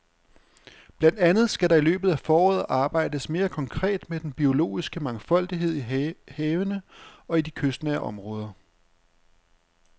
Blandt andet skal der i løbet af foråret arbejdes mere konkret med den biologiske mangfoldighed i havene og i de kystnære områder.